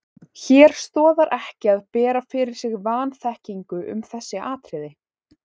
Hér stoðar ekki að bera fyrir sig vanþekkingu um þessi atriði.